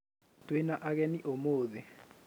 Twĩna agenĩ ũmũthe.